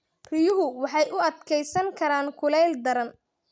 Riyuhu waxay u adkeysan karaan kulayl daran.